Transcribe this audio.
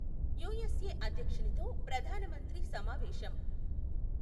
USA అధ్యక్షునితో ప్రధాన మంత్రి సమావేశం.